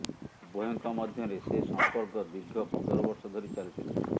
ଉଭୟଙ୍କ ମଧ୍ୟରେ ସେ ସମ୍ପର୍କ ଦୀର୍ଘ ପନ୍ଦରବର୍ଷ ଧରି ଚାଲିଥିଲା